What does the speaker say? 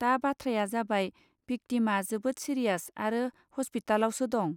दा बाथ्राया जाबाय भिक्तिमआ जोबोद सिरियास आरो हसपितालावसो दं.